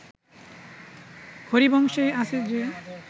হরিবংশেই আছে যে